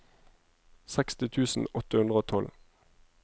seksti tusen åtte hundre og tolv